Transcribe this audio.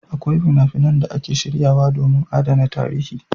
Akwai fina-finan da ake shiryawa domin adana tarihi.